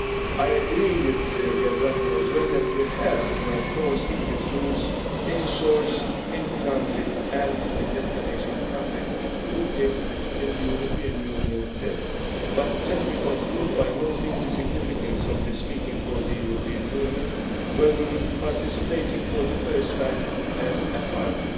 I agree with Mr Gerbrandy that we have to enforce CITES rules at source, in transit and in destination countries, including in the European Union itself. But let me conclude by noting the significance of this meeting for the European Union where we will be participating for the first time as a